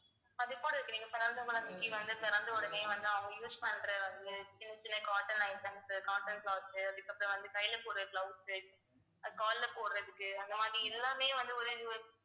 அது இருக்கு பிறந்த குழந்தைக்கு வந்து பிறந்த உடனே வந்து அவங்க use பண்ற ஒரு சின்ன சின்ன cotton items cotton clothes அதுக்கப்புறம் வந்து கையில போற gloves உ அது கால்ல போடுறதுக்கு அந்த மாதிரி எல்லாமே வந்து ஒரு